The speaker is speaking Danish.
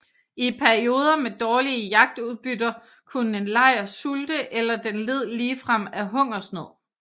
I perioder med dårlige jagtudbytter kunne en lejr sulte eller den led ligefrem af hungersnød